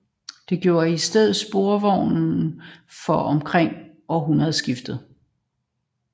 Det gjorde i stedet sporvognen fra omkring århundredeskiftet